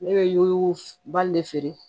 Ne bɛ yobali le feere